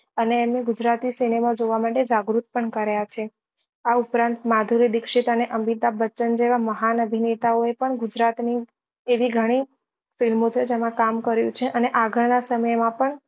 અને એમને ગુજરાતી સિનેમા જોવા માટે જાગૃત પણ કર્યા છે આ ઉપરાંત માધુરી દીક્ષિત અને અમિતાભ બચ્ચન જેવા મહાન અભિનેતા ઓ એ પણ ગુજરાત ની એવી ગણી film ઓ છે જેમાં કામ કર્યું છે અને આગળ ના સમય માં પણ